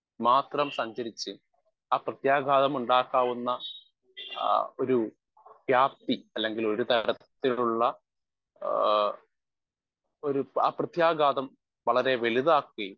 speaker 1 മാത്രം സഞ്ചരിച്ച് ആ പ്രത്യാഘാതമുണ്ടാക്കാവുന്ന ആ ഒരു വ്യാപ്തി അല്ലെങ്കിൽ ഒരു തരത്തിലുള്ള ആ ഒരു ആ പ്രത്യാഘാതം വളരെ വലുതാക്കുകയും